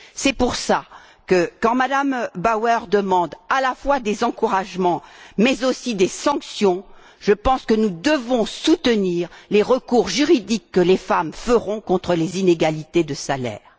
C'est pour cela que, quand Mme Bauer demande à la fois des encouragements, mais aussi des sanctions, je pense que nous devons soutenir les recours juridiques que les femmes formeront contre les inégalités de salaires.